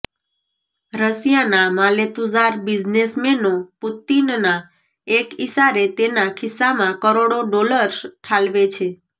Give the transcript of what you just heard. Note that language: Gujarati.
રશિયાના માલેતુજાર બિઝનેસમેનો પુતિનના એક ઇસારે તેના ખીસ્સામાં કરોડો ડોલર્સ ઠાલવે છે